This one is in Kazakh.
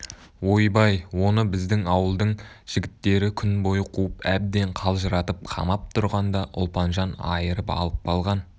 ойбай оны біздің ауылдың жігіттері күн бойы қуып әбден қалжыратып қамап тұрғанда ұлпанжан айырып алып қалған